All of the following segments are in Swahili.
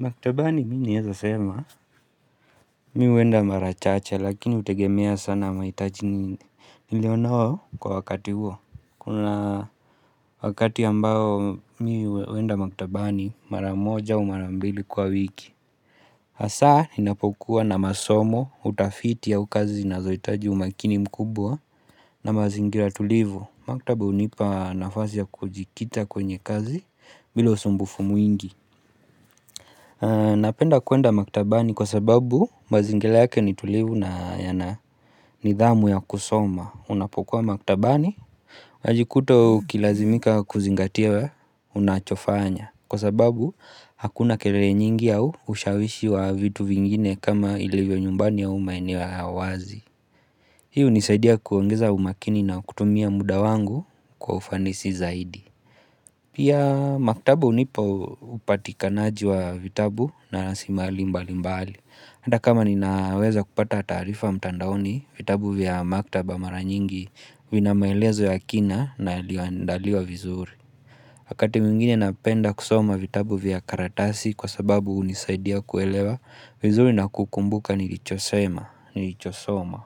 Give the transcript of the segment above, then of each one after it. Maktabani mimi naweza sema mimi huenda mara chache lakini hutegemea sana mahitaji nilionayo kwa wakati huo. Kuna wakati ambao mimi huenda maktabani mara moja au mara mbili kwa wiki. Hasa ninapokua na masomo utafiti au kazi zinazohitaji umakini mkubwa na mazingira tulivo. Maktabu hunipa nafasi ya kujikita kwenye kazi bila usumbufu mwingi. Napenda kuenda maktabani kwa sababu mazingila yake nitulivu na nidhamu ya kusoma Unapokuwa maktabani Wajikuta ukilazimika kuzingatia unachofanya Kwasababu hakuna kelele nyingi au ushawishi wa vitu vingine kama ilivyo nyumbani au maeneo ya uwazi Hii hunisaidia kuongeza umakini na kutumia muda wangu kwa ufanisi zaidi Pia maktaba hunipa upatikanaji wa vitabu na rasilimali mbali mbali. Hata kama ninaweza kupata taarifa mtandaoni, vitabu vya maktaba mara nyingi vina maelezo ya kina na ilioandaliwa vizuri. Wakati mwingine napenda kusoma vitabu vya karatasi kwasababu hunisaidia kuelewa vizuri na kukumbuka nilicho soma.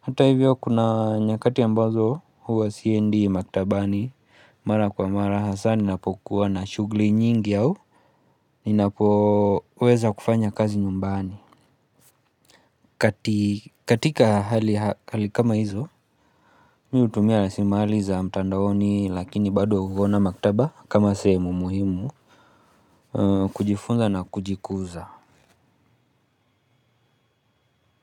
Hata hivyo kuna nyakati ambazo huwa siendi maktabani Mara kwa mara hasani napokuwa na shughuli nyingi au ninapoweza kufanya kazi nyumbani katika hali kama hizo mimi hutumia rasilimali za mtandaoni lakini bado huona maktaba kama sehemu muhimu kujifunza na kujikuza.